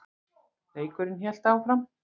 Leikurinn hélt áfram.